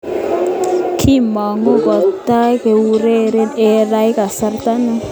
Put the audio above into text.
Kimangu kotai koureren eng rai kasarta ni.